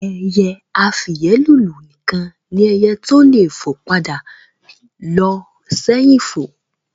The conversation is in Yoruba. Ẹyẹ afìyẹ́lùlù nìkan ni ẹyẹ tó le fo padà lo sẹ́hìn fo